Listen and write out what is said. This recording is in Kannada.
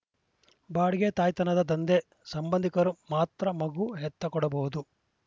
ಬಾಡಿಗೆ ತಾಯ್ತನದ ದಂಧೆ ಸಂಬಂಧಿಕರು ಮಾತ್ರ ಮಗು ಹೆತ್ತ ಕೊಡಬಹುದು